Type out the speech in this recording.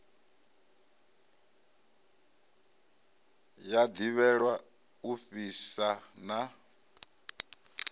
ya ḓivhelwa u fhisa na